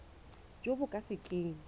jo bo ka se keng